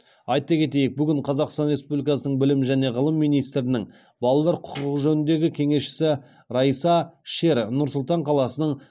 айта кетейік бүгін қазақстан республикасының білім және ғылым министрінің балалар құқығы жөніндегі кеңесшісі райса шер нұр сұлтан қаласының